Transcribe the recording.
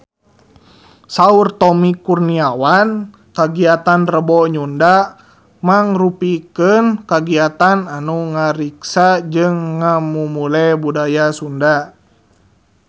Saur Tommy Kurniawan kagiatan Rebo Nyunda mangrupikeun kagiatan anu ngariksa jeung ngamumule budaya Sunda